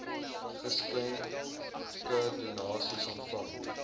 geskenke donasies ontvang